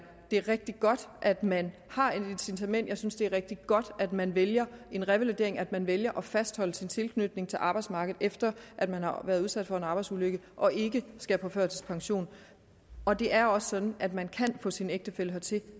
rigtig godt at man har et incitament jeg synes det er rigtig godt at man vælger en revalidering og at man vælger at fastholde sin tilknytning til arbejdsmarkedet efter at man har været udsat for en arbejdsulykke og ikke skal på førtidspension og det er også sådan at man kan få sin ægtefælle hertil